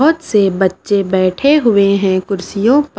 बहुत से बच्चे बैठे हुए हैं कुर्सियों पर --